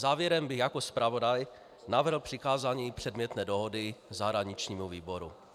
Závěrem bych jako zpravodaj navrhl přikázání předmětné dohody zahraničnímu výboru.